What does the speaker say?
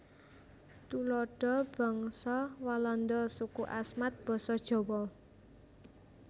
Tuladha bangsa Walanda suku Asmat basa Jawa